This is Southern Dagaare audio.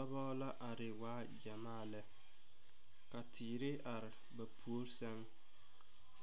Dɔbɔ la are waa gyamaa lɛ. Ka teere are ba poore seŋ.